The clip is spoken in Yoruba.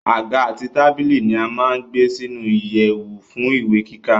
Àga àti tábìlì ni a má gbé sínu ìyèwù fún ìwé kíkà